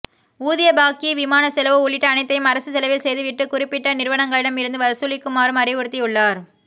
ஊதிய பாக்கி விமான செலவு உள்ளிட்ட அனைத்தையும் அரசு செலவில் செய்து விட்டு குறிப்பிட்ட நிறுவனங்களிடம் இருந்து வசூலிக்குமாறும் அறிவுறுத்தியுள்ளார்